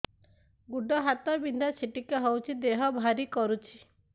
ଗୁଡ଼ ହାତ ବିନ୍ଧା ଛିଟିକା ହଉଚି ଦେହ ଭାରି କରୁଚି